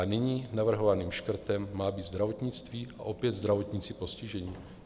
A nyní navrhovaným škrtem má být zdravotnictví a opět zdravotníci postiženi?